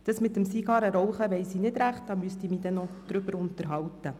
Über das Zigarrenrauchen müsste ich mich noch unterhalten.